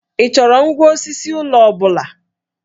Ị chọrọ ngwá osisi ụlọ ọ bụla?